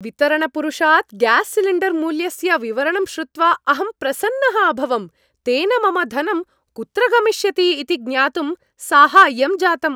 वितरण पुरुषात् ग्यास् सिलिण्डर्मूल्यस्य विवरणं श्रुत्वा अहं प्रसन्नः अभवम्, तेन मम धनं कुत्र गमिष्यति इति ज्ञातुं साहाय्यं जातम्।